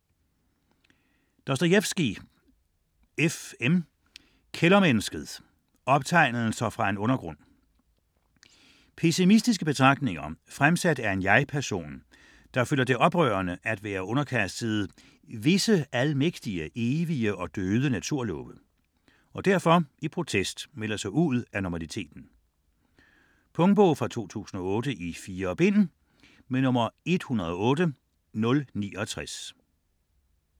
Dostojevskij, F. M.: Kældermennesket: optegnelser fra en undergrund Pessimistiske betragtninger, fremsat af en jeg-person, som føler det oprørende at være underkastet "visse almægtige, evige og døde naturlove", og derfor i protest melder sig ud af normaliteten. Punktbog 108069 2008. 4 bind.